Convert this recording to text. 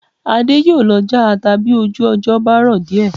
Adé yóò lọ já ata bí ojú ọjọ́ bá rọ̀ díẹ̀